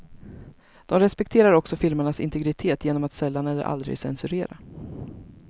De respekterar också filmarnas integritet genom att sällan eller aldrig censurera.